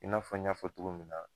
I n'a fɔ i ɲ'a fɔ cogo min na.